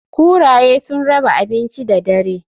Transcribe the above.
Kuraye sun raba abinci da dare.